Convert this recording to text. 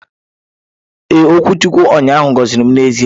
Ee, okwuchukwu ụnyaahụ gọziri m n'ezie.